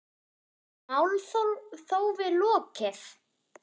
Er málþófi lokið?